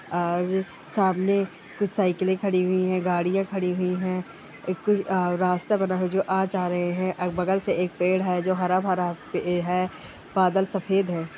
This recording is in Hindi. और सामने कुछ साइकले खड़ी हुई है गाड़ियां खड़ी हुई है एक कुछ रास्ता बना हुआ है जो आ जा रहे है बगल से एक पेड़ है जो हरा-भरा पे है बादल सफ़ेद है ।